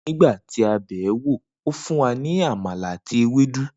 Nigba ti a be e, o fun wa ni amala ati ewedu